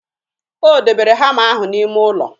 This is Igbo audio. O debere hama ahụ n'ime ụlọ